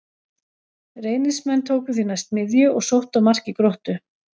Reynismenn tóku því næst miðju og sóttu að marki Gróttu.